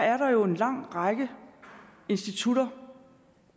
er der jo en lang række institutter